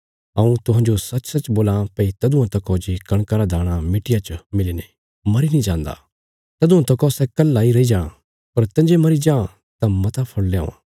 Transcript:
हऊँ तुहांजो सचसच बोलां भई तदुआं तकौ जे कणका रा दाणा मिट्टिया च मिलीने मरी नीं जान्दा तदुआं तकौ सै कल्हा इ रई जां पर तंजे मरी जां तां मता फल़ ल्यावां